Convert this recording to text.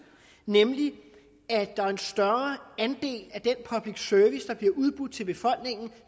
nemlig at der er en større andel af den public service der bliver udbudt til befolkningen